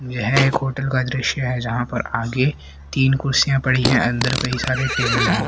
यह एक होटल का दृश्य है जहां पर आगे तीन कुर्सियां पड़ी है अंदर कई सारे टेबल है।